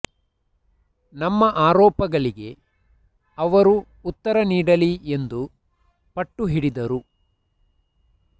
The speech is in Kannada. ನಮ್ಮ ಆರೋಪಗಳಿಗೆ ಅವರು ಉತ್ತರ ನೀಡಲಿ ಎಂದು ಪಟ್ಟು ಹಿಡಿದರು